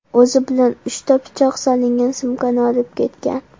O‘zi bilan uchta pichoq solingan sumkani olib kelgan.